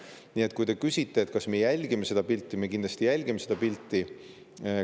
Nii et kui te küsite, kas me jälgime seda pilti, siis me kindlasti jälgime seda pilti.